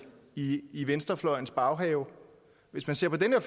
i i venstrefløjens baghave hvis man ser på det her